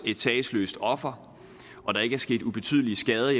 sagesløst offer og der ikke er sket ubetydelige skader